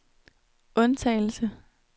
undtagelse